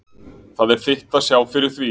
Það er þitt að sjá fyrir því.